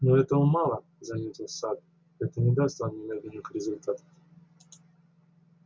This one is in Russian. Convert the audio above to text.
но этого мало заметил сатт это не даст нам немедленных результатов